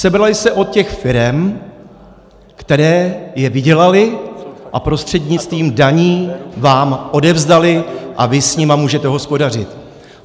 Sebraly se od těch firem, které je vydělaly a prostřednictvím daní vám odevzdaly a vy s nimi můžete hospodařit.